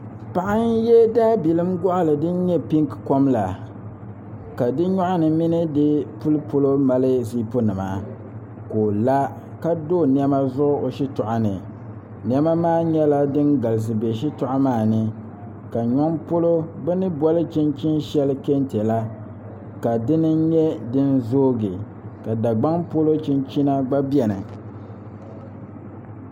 Paɣa n yɛ daabailim goɣali din nyɛ pink kom la ka di nyoɣani mini di nyoɣu polo mali zip nima ka o la ka do niɛma zuɣu o shitoɣu ni niɛma maa nyɛla din galisi bɛ shitoɣu maa ni ka ŋa polo bi ni boli chinchini shɛli kɛntɛ la ka dini n nyɛ din zoogi ka dagbaŋ polo chinchini gba biɛni